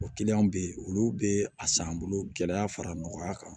O kiliyanw be yen olu be a san bolo gɛlɛya fara nɔgɔya kan